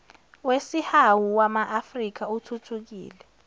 wesihawu wamaafrika uthuthukile